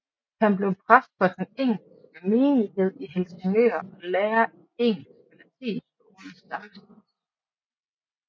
Han blev præst for den engelske menighed i Helsingør og lærer i engelsk ved latinskolen sammesteds